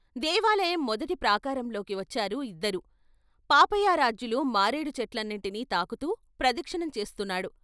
దేవాలయం మొదటి ప్రాకారంలోకి వచ్చారు ఇద్దరూ, పాపయారాధ్యులు మారేడు చెట్లన్నిటినీ తాకుతూ ప్రదక్షిణం చేస్తున్నాడు.